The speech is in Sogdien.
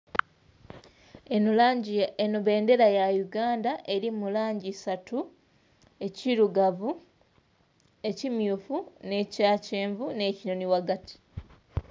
Eno bendhera ya Uganda erimu langi isatu ekilugavu, ekimyufu ekyakyenvu ne kinonhi ghagati.